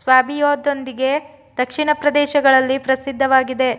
ಸ್ವ್ಯಾಬಿಯಾದೊಂದಿಗೆ ದಕ್ಷಿಣ ಪ್ರದೇಶಗಳಲ್ಲಿ ಪ್ರಸಿದ್ಧವಾಗಿದೆ